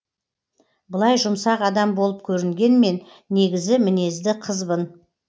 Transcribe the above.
былай жұмсақ адам болып көрінгенмен негізі мінезді қызбын